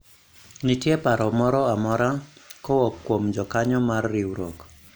nitie paro moro amora kowuok kuom jokanyo mar riwruok